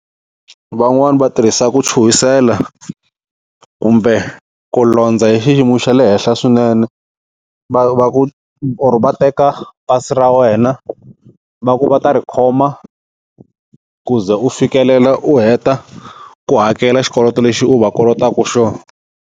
Van'wani va tirhisa ku chuhisela kumbe ku londza hi xiyimo xa le henhla swinene, va va or va teka pasi ra wena va ku va ta ri khoma ku ze u fikelela u heta ku hakela xikoloto lexi u va kolotaku xona.